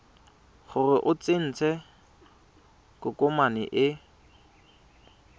gore o tsentse tokomane e